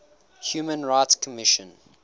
human rights commission